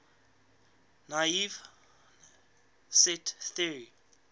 naive set theory